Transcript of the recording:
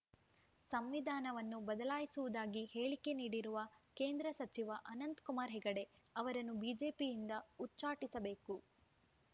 ಸಂವಿಧಾನವನ್ನು ಬದಲಾಯಿಸುವುದಾಗಿ ಹೇಳಿಕೆ ನೀಡಿರುವ ಕೇಂದ್ರ ಸಚಿವ ಅನಂತಕುಮಾರ್‌ ಹೆಗಡೆ ಅವರನ್ನು ಬಿಜೆಪಿಯಿಂದ ಉಚ್ಛಾಟಿಸಬೇಕು